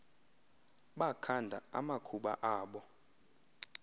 bakhanda amakhuba abo